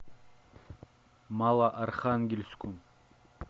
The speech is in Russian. малоархангельску